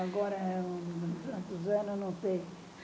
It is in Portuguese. Agora com anos, não sei.